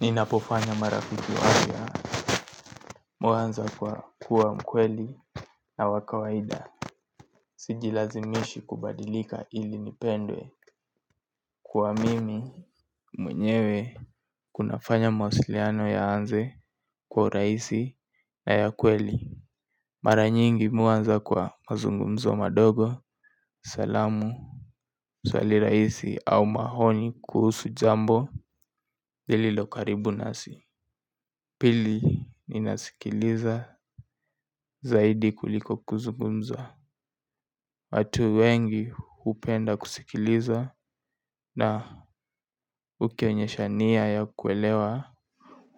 Ninapofanya marafiki wapya huanza kwa kuwa mkweli na wa kawaida. Sijilazimishi kubadilika ili nipendwe kuwa mimi mwenyewe kunafanya mawasiliano yaanze kwa urahisi na ya kweli. Mara nyingi mimi huanza kwa mazungumzo madogo salamu swali rahisi au maoni kuhusu jambo lililo karibu nasi. Pili ninasikiliza zaidi kuliko kuzungumza. Watu wengi hupenda kusikiliza na kwenye shania ya kuelewa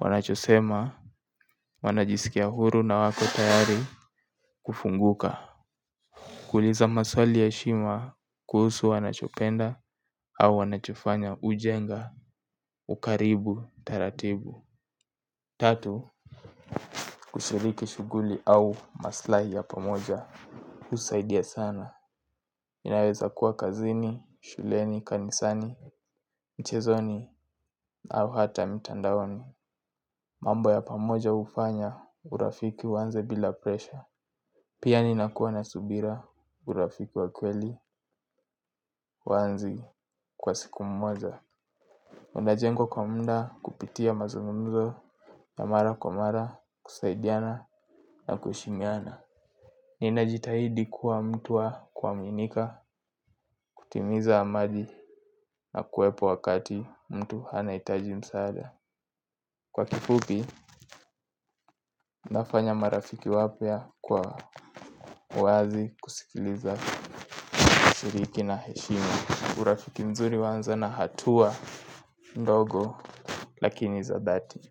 wanachosema wanajisikia huru na wako tayari kufunguka. Kuuliza maswali ya heshima kuhusu wanachopenda au wanachofanya au ujenga. Ukaribu taratibu tatu kushiriki shughuli au maslahi ya pamoja husaidia sana inaweza kuwa kazini, shuleni, kanisani, mchezoni au hata mitandaoni. Mambo ya pamoja hufanya urafiki uanze bila presha. Pia ninakuwa na subira urafiki wa kweli hauanzi kwa siku moja unajengwa kwa muda kupitia mazungumzo ya mara kwa mara kusaidiana na kuheshimiana. Ninajitahidi kuwa mtu wa kuaminika, kutimiza ahadi na kuwepo wakati mtu anahitaji msaada. Kwa kifupi, nafanya marafiki wapya kwa uwazi kusikiliza shiriki na heshima. Urafiki mzuri huanza na hatua ndogo lakini za dhati.